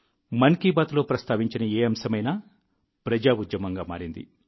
మన్ కీ బాత్లో ప్రస్తావించిన ఏ అంశమైనా ప్రజా ఉద్యమంగా మారింది